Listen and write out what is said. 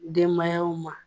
Denbayaw ma.